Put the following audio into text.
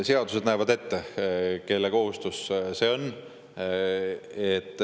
Seadused näevad ette, kelle kohustus see on.